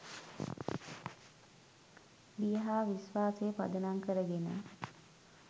බිය හා විශ්වාසය පදනම් කරගෙන